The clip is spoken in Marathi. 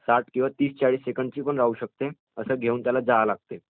ते साठ किंवा तीस चाळीस सेकंडची पण असू शकते, ते घेऊन त्याला जावे लागते.